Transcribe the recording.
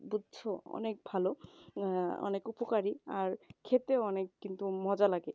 বুঝছো অনেক ভালো এ অনেক আহ উপকারী আর খেতে অনেক কিন্তু মজা লাগে